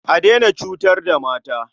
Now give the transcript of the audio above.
A daina cutar da mata.